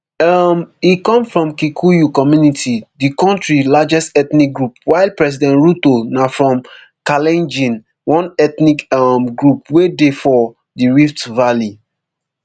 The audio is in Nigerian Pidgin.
um e come from kikuyu community di kontri largest ethnic group while president ruto na from kalenjin one ethnic um group wey dey for di rift valley